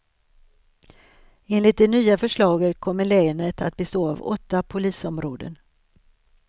Enligt det nya förslaget kommer länet att bestå av åtta polisområden.